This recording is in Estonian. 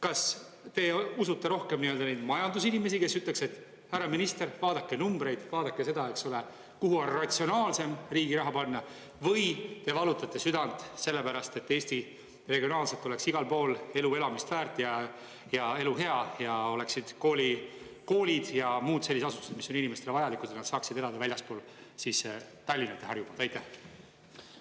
Kas te usute rohkem neid majandusinimesi, kes ütleks, et härra minister, vaadake numbreid, vaadake seda, kuhu on ratsionaalsem riigi raha panna või te valutate südant selle pärast, et Eestis regionaalselt oleks igal pool elu elamist väärt ja elu hea ja oleksid koolid ja muud sellised asutused, mis on inimestele vajalikud, et nad saaksid elada väljaspool Tallinna ja Harjumaad?